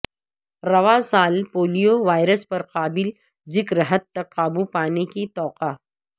رواں سال polio virus پر قابل ذکر حد تک قابو پانے کی توقع